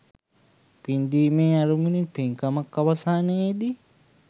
පින්දීමේ අරමුණින් පින්කම අවසානයේ දී